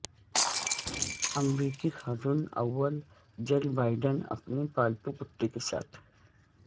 امریکی خاتون اول جل بائیڈن اپنے پالتو کتے کے ساتھ